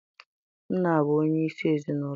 Nna bụ onye isi ezinaụlọ.